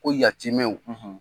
Ko yatimɛnw